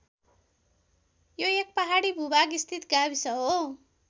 यो एक पहाडी भूभाग स्थित गाविस हो।